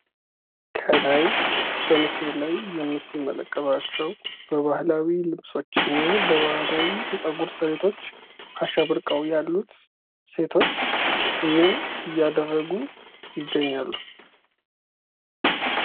ከላይ በምስሉ ላይ የምትመለከቷቸው በባህላዊ ልብሶችን እና ባህላዊ የጸጉር ስሬቶች አሸብርቀው ያሉት ሴቶች ምን እያደረጉ ይገኛሉ?